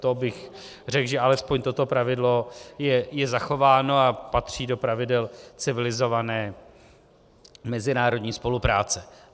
To bych řekl, že alespoň toto pravidlo je zachováno a patří do pravidel civilizované mezinárodní spolupráce.